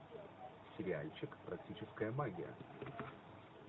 сериальчик практическая магия